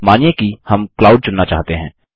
मानिए कि हम क्लाउड चुनना चाहते हैं